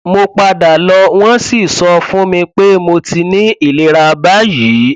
mo padà lọ wọn sì sọ fún mi pé mo ti ní ìlera báyìí